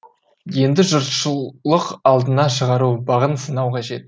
енді жұртшылық алдына шығару бағын сынау қажет